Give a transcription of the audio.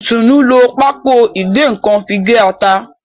Itunu ló Pákò ìgé-nǹkan fí gé atá.